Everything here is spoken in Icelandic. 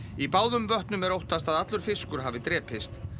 í báðum vötnum er óttast að allur fiskur hafi drepist